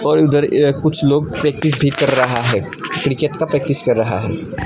और इधर ए कुछ लोग प्रैक्टिस भी कर रहा है क्रिकेट का प्रैक्टिस कर रहा है।